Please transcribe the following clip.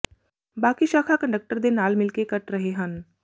ਬਾਕੀ ਸ਼ਾਖਾ ਕੰਡਕਟਰ ਦੇ ਨਾਲ ਮਿਲ ਕੇ ਕੱਟ ਰਹੇ ਹਨ